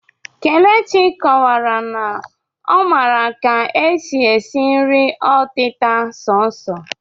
Kelechi kọwara na ọ maara ka e si si nri ọtịta sọọsọ